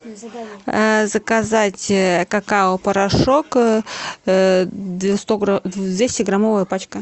заказать какао порошок двести граммовая пачка